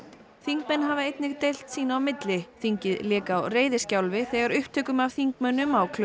þingmenn hafa einnig deilt sín á milli þingið lék á reiðiskjálfi þegar upptökum af þingmönnum á